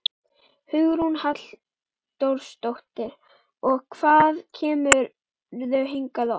Hugrún Halldórsdóttir: Og hvað kemurðu hingað oft?